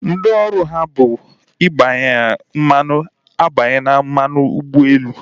Ndị ọrụ ha bụ igbanye mmanụ agbanyela mmanụ ụgbọelu